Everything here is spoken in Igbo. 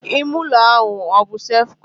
Ime ụlọ ahụ ọbụ sef kọn?